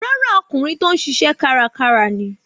Rárá, ọkùnrin tó ń ṣiṣẹ́ kárakára ni.